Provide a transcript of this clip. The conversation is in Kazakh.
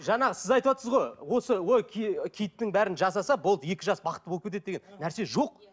жаңа сіз айтыватсыз ғой осы ой киттің бәрін жасаса болды екі жас бақытты болып кетеді деген нәрсе жоқ